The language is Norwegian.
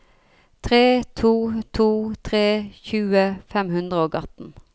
tre to to tre tjue fem hundre og atten